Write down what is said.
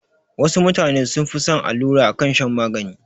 Wasu mutane sun fi son allura akan shan magani